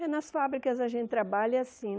É, nas fábricas a gente trabalha assim.